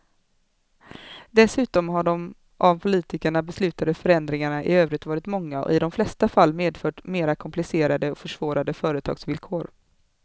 Dessutom har de av politikerna beslutade förändringarna i övrigt varit många och i de flesta fall medfört mera komplicerade och försvårade företagsvillkor.